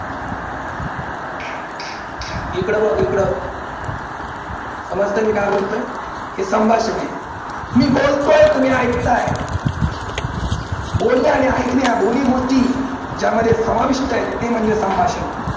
इकडं बघ इकडं समजतंय मी काय बोलतोय? हे संभाषण आहे. मी बोलतो तुम्ही ऐकताय बोलणे आणि ऐकणे ह्या दोन्ही गोष्टी ज्यामध्ये समाविष्ट आहेत ते म्हणजे संभाषण.